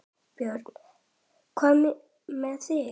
Björn: Hvað með þig?